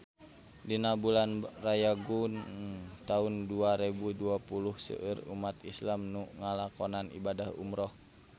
Dina bulan Rayagung taun dua rebu dua puluh seueur umat islam nu ngalakonan ibadah umrah